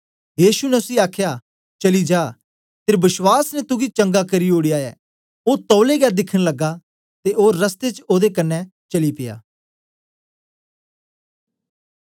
यीशु ने उसी आखया चली जा तेरे बश्वास ने तुगी चंगा करी ओड़या ऐ ओ तौलै गै दिखन लगा ते ओ रस्ते च ओदे कन्ने चली पिया